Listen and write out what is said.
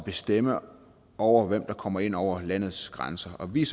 bestemme over hvem der kommer ind over landets grænser og vi er